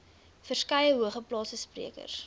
verskeie hoogeplaasde sprekers